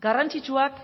garrantzitsuak